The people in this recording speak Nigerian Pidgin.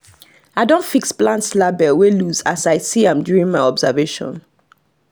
i don fix plants label wey loose as i see am during my observation